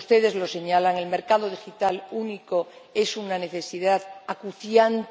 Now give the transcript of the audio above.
Ustedes lo señalan el mercado digital único es una necesidad acuciante.